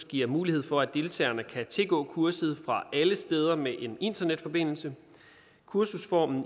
giver mulighed for at deltagerne kan tilgå kurset fra alle steder med en internetforbindelse kursusformen